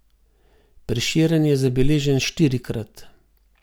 Prešeren je zabeležen štirikrat.